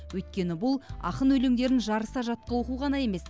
өйткені бұл ақын өлеңдерін жарыса жатқа оқу ғана емес